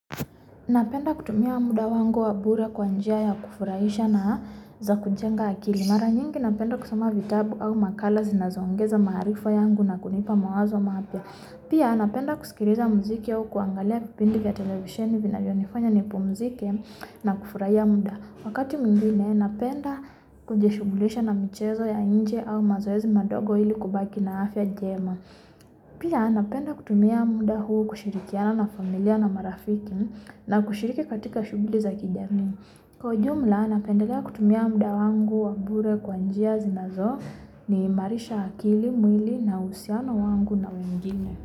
Na penda kutumia muda wangu wabure kwa njia ya kufurahisha na za kujenga akili Mara nyingi napenda kusoma vitabu au makala zinazoongeza maarifa yangu na kunipa mawazo mapya Pia napenda kusikiliza muziki au kuangalia vipindi vya televisheni vinavyonifanya nipumzike na kufurahia muda Wakati mwingine napenda kuishughulisha na michezo ya nje au mazoezi madogo ilikubaki na afya njema Pia napenda kutumia muda huu kushirikiana na familia na marafiki na kushiriki katika shughuli za kjamii kwa ujumla napendelea kutumia muda wangu wabure kwa njia zinazoniimarisha akili mwili nauhusiano wangu na wengine.